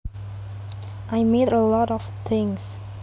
I made a lot of things